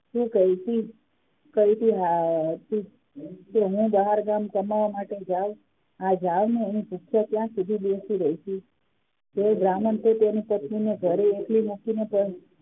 કહ્યું કે હું બહારગામ કમાવા માટે જાવ ક્યાં સુધી બેસી રહીશ તે બ્રાહ્મણ તેની પત્ની ને ઘરે એખલી મૂકી ને